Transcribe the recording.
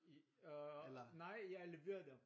Øh nej jeg lever dem